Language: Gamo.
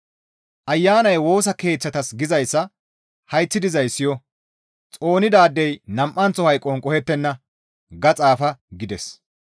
«Ayanay Woosa Keeththatas gizayssa hayththi dizay siyo! xoonidaadey nam7anththo hayqon qohettenna» gaada xaafa gides.